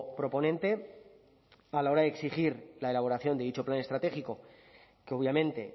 proponente a la hora de exigir la elaboración de dicho plan estratégico que obviamente